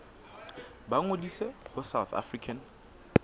ba ngodise ho south african